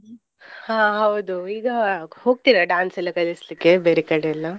ಹಾ ಹೌದು. ಈಗ ಹೋಗ್ತೀರಾ dance ಎಲ್ಲ ಕಳಿಸ್ಲಿಕ್ಕೆ ಬೇರೆ ಕಡೆಯೆಲ್ಲ?